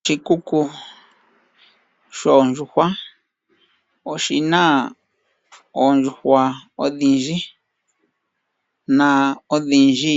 Oshikuku shoondjuhwa oshina oondjuhwa odhindji . Na odhindji